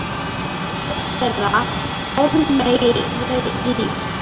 Dóttir þeirra: Ármey Líf.